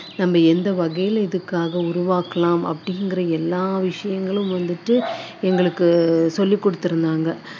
நம்ம எந்த வகையில இதுக்காக உருவாக்கலாம் அப்படிங்குற எல்லா விஷயங்களும் வந்துட்டு எங்களுக்கு சொல்லிக் கொடுத்துருந்தாங்க